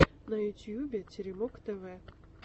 на ютубе теремок тв